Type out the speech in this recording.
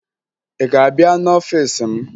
Ị ga-abịa n'ọfiisi m?